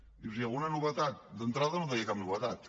i dius i alguna novetat d’entrada no deia cap novetat